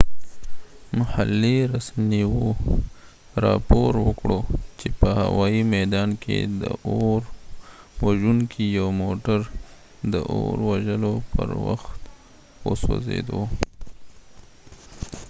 محلي رسنیو راپور ورکړ چې په هوايي میدان کې د اور وژونکي یو موټر د اور وژلو پر وخت وسوځید